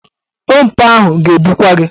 Ompa ahụ ga-ebukwa gị.